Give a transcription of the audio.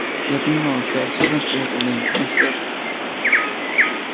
я понимал всю абсурдность приготовлений но всё же